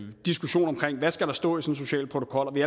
diskussion om hvad der skal stå i social protokol og vi